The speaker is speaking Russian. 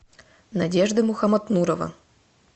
надежда мухаматмурова